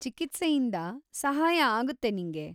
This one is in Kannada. ಚಿಕಿತ್ಸೆಯಿಂದ ಸಹಾಯ ಆಗುತ್ತೆ ನಿಂಗೆ.